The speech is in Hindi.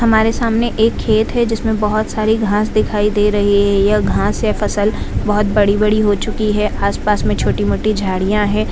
हमारे सामने एक खेत है जिसमें बहुत सारी घास दिखाई दे रही है यह घास यह फसल बड़ी-बड़ी हो चुकी है आस-पास में छोटी-मोटी झाड़ियां है।